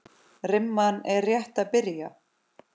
Rimman er rétt að byrja.